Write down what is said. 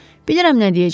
Bilirəm nə deyəcəklər.